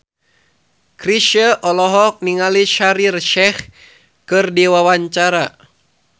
Chrisye olohok ningali Shaheer Sheikh keur diwawancara